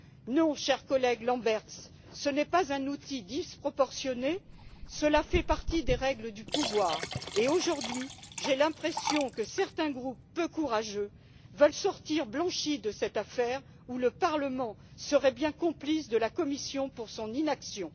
Non, cher collègue Lamberts, ce n'est pas un outil disproportionné, cela fait partie des règles du pouvoir et, aujourd'hui, j'ai l'impression que certains groupes peu courageux veulent sortir blanchis de cette affaire, où le Parlement serait bien complice de la Commission pour son inaction.